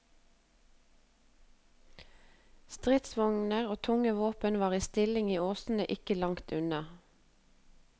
Stridsvogner og tunge våpen var i stilling i åsene ikke langt unna.